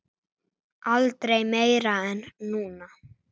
Aldrei meira en núna.